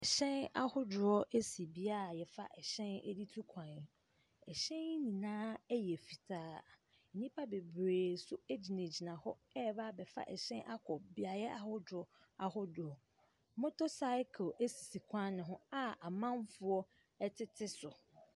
Ɛhyɛ ahodoɔ esi bea a yɛfa hyɛn de tu kwan. Ɛhyɛn yi nyinaa yɛ fitaa. Nnipa bebree no gyinagyina rebɛfa ɛhyɛn akɔ beaeɛ ahodoɔ ahodoɔ. Motor cycle esisi kwan no ho a amanfoɔ ɛtete so.